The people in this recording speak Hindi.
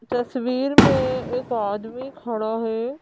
तस्वीर में एक आदमी खड़ा है।